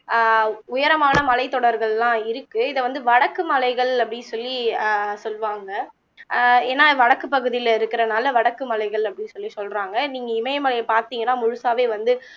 அஹ் உயரமான மலைத்தொடர்கள்லாம் இருக்கு இத வந்து வடக்கு மலைகள் அப்படி சொல்லி அஹ் சொல்லுவாங்க அஹ் ஏனா வடக்கு பகுதியிலே இருக்குறதுனாலே வடக்கு மலைகள் அப்படின்னு சொல்லி சொல்லுறாங்க நீங்க இமயமலைய பார்த்தீங்கன்ன முழுசாவே வந்து